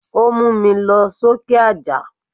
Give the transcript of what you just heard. Ó múmi lọ sókè àjà.